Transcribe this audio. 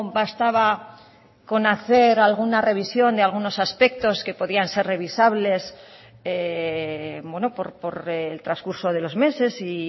bastaba con hacer alguna revisión de algunos aspectos que podían ser revisables por el transcurso de los meses y